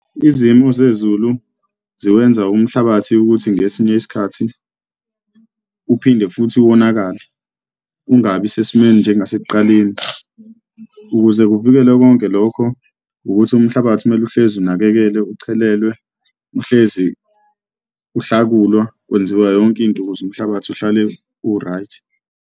Izimo zezulu ziwenza umhlabathi ukuthi ngesinye isikhathi uphinde futhi wonakale ungabi sesimeni njengasekuqaleni. Ukuze kuvikelwe konke lokho, ukuthi umhlabathi kumele uhlezi unakekelwe, uchelelwe, uhlezi uhlakulwa, kwenziwe yonke into ukuze umhlabathi uhlale u-right.